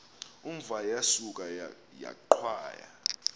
umva yasuka yaqhwaya